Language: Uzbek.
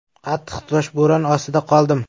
Qattiq toshbo‘ron ostida qoldim.